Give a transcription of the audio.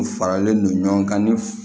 U faralen non ɲɔgɔn kan ni